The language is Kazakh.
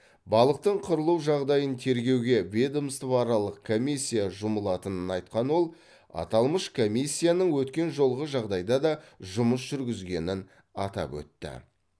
балықтың қырылу жағдайын тергеуге ведомствоаралық комиссия жұмылатынын айтқан ол аталмыш комиссияның өткен жолғы жағдайда да жұмыс жүргізгенін атап өтті